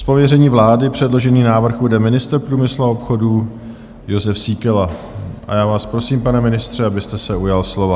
Z pověření vlády předložený návrh uvede ministr průmyslu a obchodu Jozef Síkela a já vás prosím, pane ministře, abyste se ujal slova.